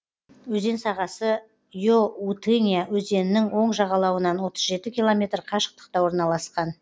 өзен сағасы иоутынья өзенінің оң жағалауынан отыз жеті километр қашықтықта орналасқан